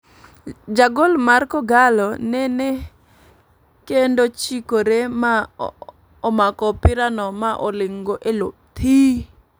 Jagol mar kogallo nene kendo chikore ma omako opira no ma oling' go eloo thiii.